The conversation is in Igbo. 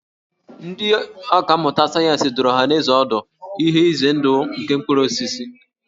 Ndị ọkà mmụta sayensị dụrụ ọhanaeze ọdụ ihe ize ndụ nke ụfọdụ mkpụrụ osisi